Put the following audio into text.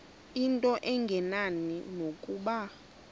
into engenani nokuba